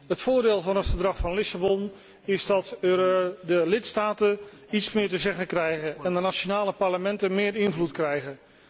Het voordeel van het Verdrag van Lissabon is dat de lidstaten iets meer te zeggen krijgen en de nationale parlementen meer invloed krijgen.